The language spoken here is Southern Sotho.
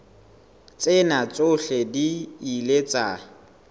tsena tsohle di ile tsa